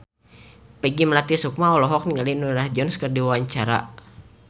Peggy Melati Sukma olohok ningali Norah Jones keur diwawancara